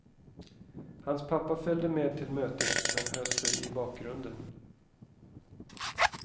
Hans pappa följde med till mötet, men höll sig i bakgrunden.